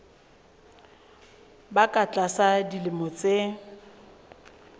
ba ka tlasa dilemo tse